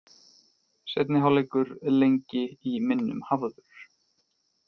Seinni hálfleikur lengi í minnum hafður